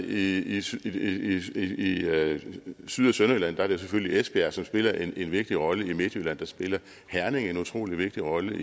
i syd i syd og sønderjylland er det selvfølgelig esbjerg der spiller en vigtig rolle i midtjylland spiller herning en utrolig vigtig rolle